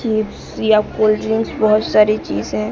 Chips या cold drinks बहुत सारी चीज हैं।